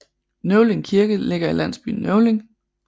Nøvling Kirke ligger i landsbyen Nøvling